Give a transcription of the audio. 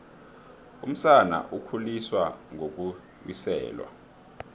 umsana ukhuliswa ngokuwiselwa